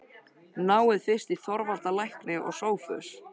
Náið fyrst í Þorvald lækni og Sophus.